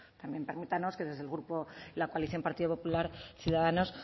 también permítanos que desde el grupo la coalición partido popluar ciudadanos